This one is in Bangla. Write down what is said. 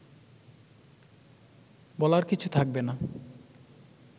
বলার কিছু থাকবে না